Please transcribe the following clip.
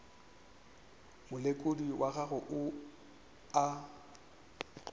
molekodi wa gago yo a